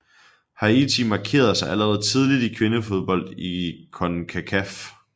Haiti markerede sig allerede tidligt i kvindefodbold i CONCACAF